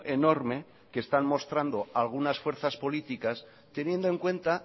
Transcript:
enorme que están mostrando algunas fuerzas políticas teniendo en cuenta